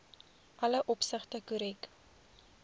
alle opsigte korrek